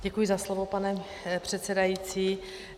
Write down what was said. Děkuji za slovo, pane předsedající.